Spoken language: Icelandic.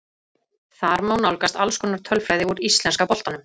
Þar má nálgast alls konar tölfræði úr íslenska boltanum.